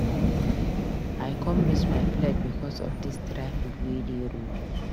I com miss my flight because of dis traffic wey dey road.